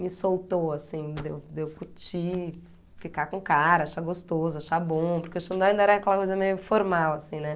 me soltou, assim, de eu de eu curtir, ficar com o cara, achar gostoso, achar bom, porque o Xandó ainda era aquela coisa meio formal, assim, né?